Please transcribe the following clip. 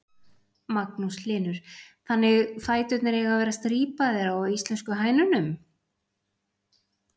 Magnús Hlynur: Þannig fæturnir eiga að vera strípaðar á íslensku hænunum?